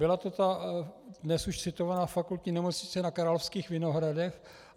Byla to ta dnes už citovaná Fakultní nemocnice na Královských Vinohradech.